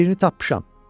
Biri tapmışam.